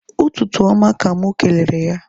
Ụtụtụ oma ka mụ kelere ya